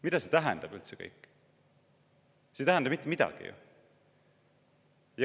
Mida see kõik üldse tähendab?